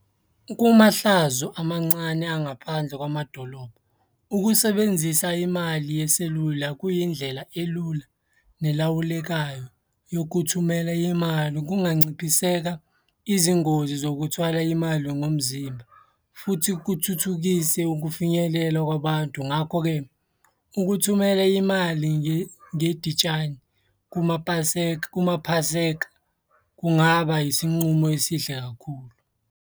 Kumahlazo amancane angaphandle kwamadolobha, ukusebenzisa imali yeselula kuyindlela elula nelawulekayo yokuthumela imali. Kunganciphiseka izingozi zokuthwala imali ngomzimba, futhi kuthuthukise ukufinyelela kwabantu. Ngakho-ke, ukuthumela imali kuMapaseka, kuMaphaseka, kungaba isinqumo esihle kakhulu,